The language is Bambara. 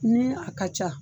Ni a ka ca.